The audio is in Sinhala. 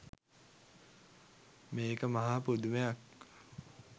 මේක මහා පුදුමයක්